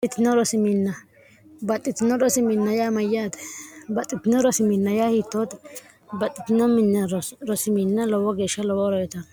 roibaxxitino rosiminn yaa mayyaate baxxitino rosiminna yaa hiittooti baxxitinoo minya rosiminn lowo geeshsha lowooro yitono